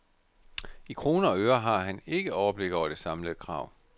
I kroner og øre har han ikke overblik over det samlede krav.